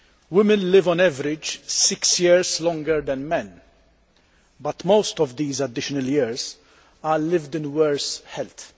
Women live, on average, six years longer than men but most of these additional years are lived in worse health.